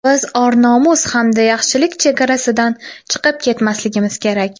biz or-nomus hamda yaxshilik chegarasidan chiqib ketmasligimiz kerak.